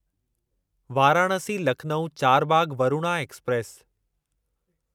Varanasi Lucknow Charbagh Varuna express